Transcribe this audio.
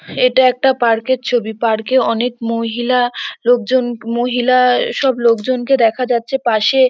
এটা একটা পার্ক -এর ছবি। পার্ক -এ অনেক মহিলা লোকজন মহিলা সব লোকজনকে দেখা যাচ্ছে পাশে--